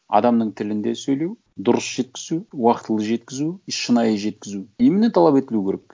адамның тілінде сөйлеу дұрыс жеткізу уақытылы жеткізу шынайы жеткізу именно талап етілуі керек